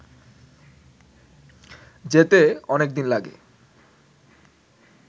যেতে অনেক দিন লাগে